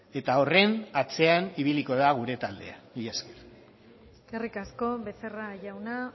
eta horren atzean ibiliko da gure taldea mila esker eskerrik asko becerra jauna